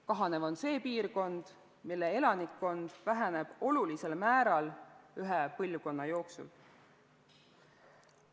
Kahanev on see piirkond, mille elanikkond väheneb olulisel määral ühe põlvkonna jooksul.